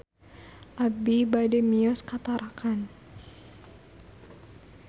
Abi bade mios ka Tarakan